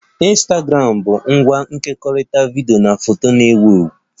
Ịnstagramụ bu ngwa nkekọrịta vidiyo na foto na-ewu ewu